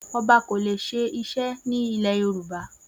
Oba ko le se ise ni ile yoruba